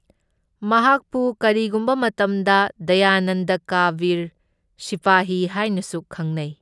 ꯃꯍꯥꯛꯄꯨ ꯀꯔꯤꯒꯨꯝꯕ ꯃꯇꯝꯗ ꯗꯌꯥꯅꯟꯗ ꯀꯥ ꯚꯤꯔ ꯁꯤꯄꯥꯍꯤ ꯍꯥꯢꯅꯁꯨ ꯈꯪꯅꯩ꯫